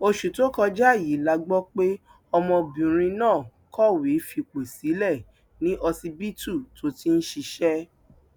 oṣù tó kọjá yìí la gbọ pé ọmọbìnrin náà kọwé fipò sílẹ ní ọsibítù tó ti ń ṣiṣẹ